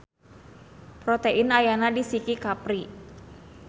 Protein ayana di siki kapri.